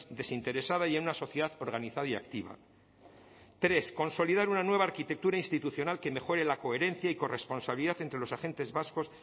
desinteresada y en una sociedad organizada y activa tres consolidar una nueva arquitectura institucional que mejore la coherencia y corresponsabilidad entre los agentes vascos